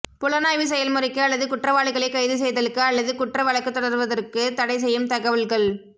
புலனாய்வு செயல்முறைக்கு அல்லது குற்றவாளிகளை கைது செய்தலுக்கு அல்லது குற்ற வழக்கு தொடருவதற்கு தடை செய்யும் தகவல்கள்